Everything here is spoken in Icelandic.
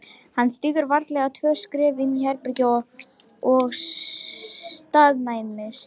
Hann stígur varlega tvö skref inn í herbergið og staðnæmist.